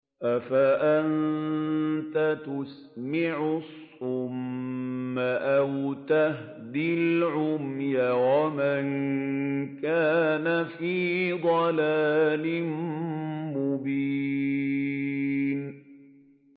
أَفَأَنتَ تُسْمِعُ الصُّمَّ أَوْ تَهْدِي الْعُمْيَ وَمَن كَانَ فِي ضَلَالٍ مُّبِينٍ